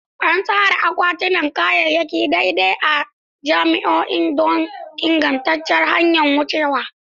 An tsara akwatunan kayayyaki daidai a cikin ma'ajin don ingantaccen hanyar wucewa.